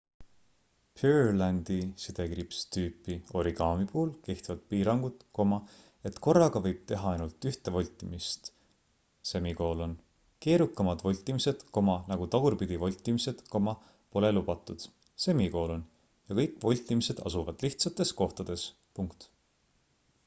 purelandi-tüüpi origami puhul kehtivad piirangud et korraga võib teha ainult ühte voltimist keerukamad voltimised nagu tagurpidi voltimised pole lubatud ja kõik voltimised asuvad lihtsates kohtades